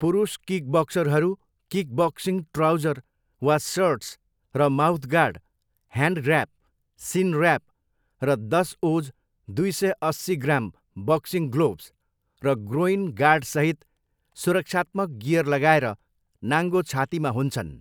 पुरुष किकबक्सरहरू kickboxing trouser वा सर्ट्स र mouthguard, hand wrap, shin wrap, र दस ओज, दुई सय अस्सी ग्राम, बक्सिङ ग्लोभ्स र ग्रोइन गार्डसहित सुरक्षात्मक गियर लगाएर नाङ्गो छातीमा हुन्छन्।